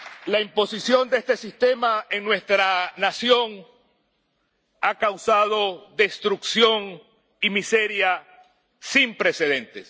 La imposición de este sistema en nuestra nación ha causado destrucción y miseria sin precedentes.